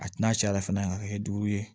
A tina caya fɛnɛ a ka kɛ duuru ye